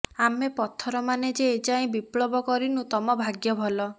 ଆମେ ପଥରମାନେ ଯେ ଏଯାଏଁ ବିପ୍ଳବ କରିନୁ ତମ ଭାଗ୍ୟ ଭଲ